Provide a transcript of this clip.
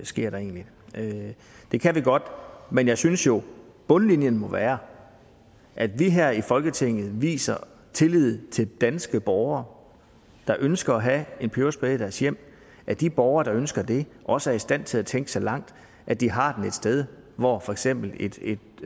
sker der egentlig det kan vi godt gøre men jeg synes jo at bundlinjen må være at vi her i folketinget viser tillid til de danske borgere der ønsker at have en peberspray i deres hjem at de borgere der ønsker det også er i stand til at tænke så langt at de har den et sted hvor for eksempel et et